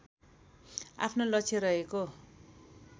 आफ्नो लक्ष्य रहेको